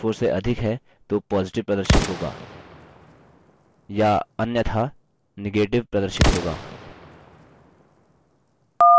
इसका मतलब यदि cell c3 की value cell c4 से अधिक है तो positive प्रदर्शित होगा